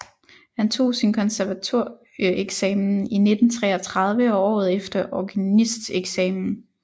Han tog sin konservatorieeksamen i 1933 og året efter organisteksamen